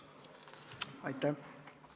Aitäh!